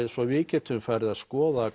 svo við getum farið að skoða